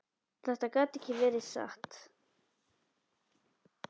Þetta gat ekki verið satt.